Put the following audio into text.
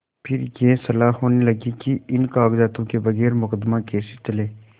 फिर यह सलाह होने लगी कि इन कागजातों के बगैर मुकदमा कैसे चले